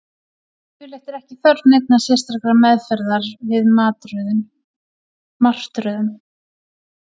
Yfirleitt er ekki þörf neinnar sérstakrar meðferðar við martröðum.